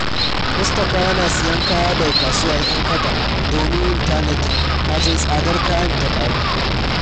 Mustapha yana siyan kaya daga kasuwar 'Yan Kaba domin yin tanadi kafin tsadar kayan ta ƙaru.